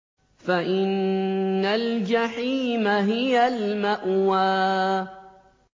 فَإِنَّ الْجَحِيمَ هِيَ الْمَأْوَىٰ